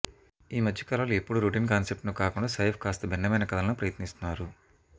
ఈ మధ్యకాలంలో ఎప్పుడూ రొటీన్ కాన్సెప్ట్స్నే కాకుండా సైఫ్ కాస్త భిన్నమైన కథలను ప్రయత్నిస్తున్నారు